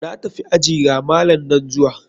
Na tafi aji, ga malam nan zuwa.